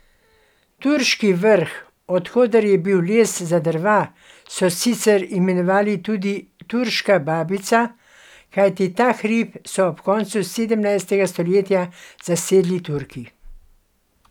Turški Vrh, od koder je bil les za drva, so sicer imenovali tudi Turška babica, kajti ta hrib so ob koncu sedemnajstega stoletja zasedli Turki.